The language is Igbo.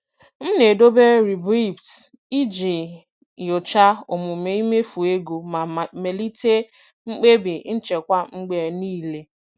M na-edobe riboeipts iji nyochaa omume imefu ego ma melite mkpebi nchekwa mgbe niile.